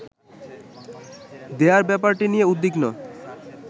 দেয়ার ব্যাপারটি নিয়ে উদ্বিগ্ন